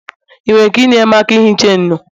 ị nwere ike inyere m aka ihicha enyo?